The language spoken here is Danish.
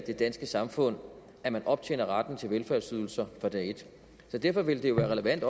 det danske samfund at man optjener retten til velfærdsydelser fra dag et derfor ville det jo være relevant